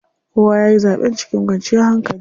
Kowa yayi zaɓen cikin kwanciyar hankali.